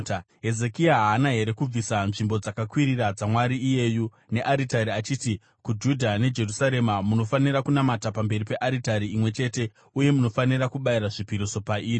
Hezekia haana here kubvisa nzvimbo dzakakwirira dzamwari iyeyu nearitari achiti kuJudha neJerusarema, ‘Munofanira kunamata pamberi pearitari imwe chete uye munofanira kubayira zvipiriso pairi’?